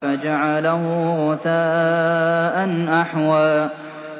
فَجَعَلَهُ غُثَاءً أَحْوَىٰ